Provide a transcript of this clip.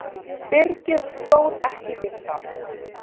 Byrgið stóð ekki við það.